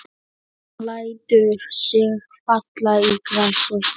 Hún lætur sig falla í grasið.